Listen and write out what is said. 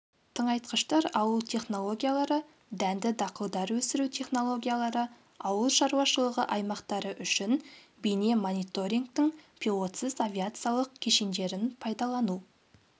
тыңайтқыштар алу технологиялары дәнді-дақылдар өсіру технологиялары ауыл шаруашылығы аймақтары үшін бейне-мониторингтің пилотсыз авиациялық кешендерін пайдалану